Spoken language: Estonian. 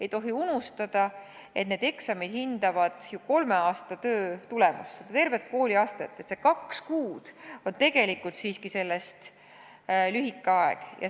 Ei tohi unustada, et eksamid hindavad kolme aasta töö tulemust, tervet kooliastet, ja need kaks kuud moodustavad sellest tegelikult siiski lühikese aja.